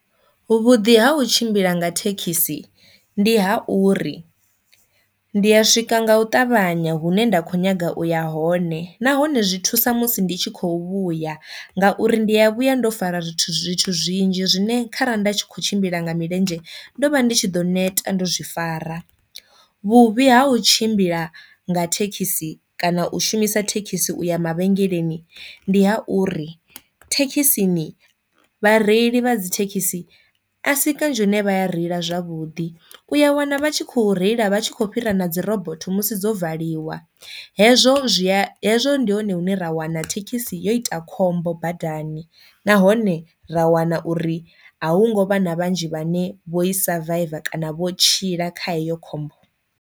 Vhuḓi ha u tshimbila nga thekhisi ndi ha uri ndi ya swika nga u ṱavhanya hune nda kho nyaga u ya hone nahone zwi thusa musi ndi tshi khou vhuya ngauri ndi ya vhuya ndo fara zwithu zwithu zwinzhi zwine kha ra nda tshi kho tshimbila nga milenzhe ndo vha ndi tshi ḓo neta ndo zwi fara. Vhuvhi ha u tshimbila nga thekhisi kana u shumisa thekhisi u ya mavhengeleni ndi ha uri thekhisini vhareili vha dzi thekhisi a si kanzhi hune vha a reila zwavhudi, u ya wana vha tshi khou reila vha tshi khou fhira na dzi robotho musi dzo valiwa. Hezwo zwia, hezwo ndi hone hune ra wana thekhisi yo ita khombo badani nahone ra wana uri a hu ngo vha na vhanzhi vhane vho i survive kana vho tshila kha eyo khombo.